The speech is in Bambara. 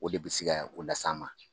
O de bɛ si ka o las'an ma.